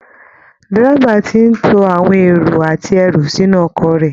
Dẹ́rẹ́bà ti ń to àwọn èrò àti ẹrù sínú ọkọ̀ rẹ